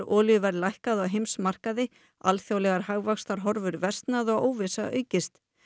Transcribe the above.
olíuverð lækkað á heimsmarkaði alþjóðlegar hagvaxtarhorfur versnað og óvissa aukist